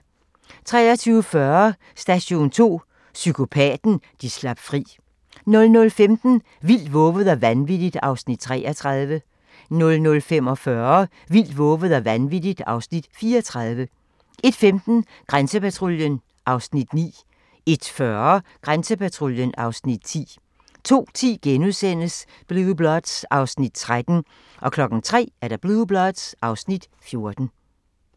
23:40: Station 2: Psykopaten, de slap fri 00:15: Vildt, vovet og vanvittigt (Afs. 33) 00:45: Vildt, vovet og vanvittigt (Afs. 34) 01:15: Grænsepatruljen (Afs. 9) 01:40: Grænsepatruljen (Afs. 10) 02:10: Blue Bloods (Afs. 13)* 03:00: Blue Bloods (Afs. 14)